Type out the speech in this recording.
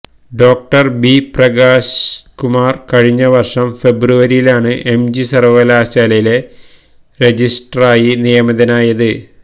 ഡോ B Prakashkumar കഴിഞ്ഞവര്ഷം ഫെബ്രുവരിയിലാണ് MG സര്വകലാശാലയിലെ രജിസ്ട്രാറായി നിയമിതനായത്